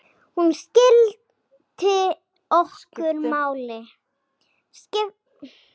Hún skipti okkur máli.